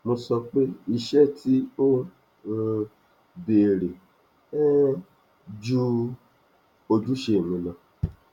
mo sọ pé iṣé tí ó um béèrè um ju ojúṣe mi lọ